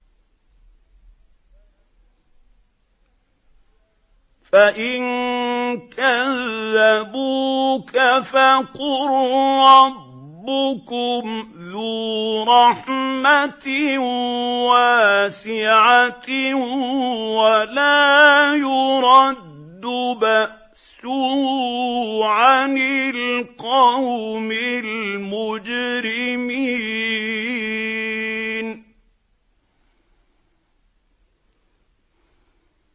فَإِن كَذَّبُوكَ فَقُل رَّبُّكُمْ ذُو رَحْمَةٍ وَاسِعَةٍ وَلَا يُرَدُّ بَأْسُهُ عَنِ الْقَوْمِ الْمُجْرِمِينَ